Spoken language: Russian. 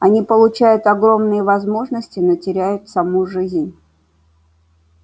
они получают огромные возможности но теряют саму жизнь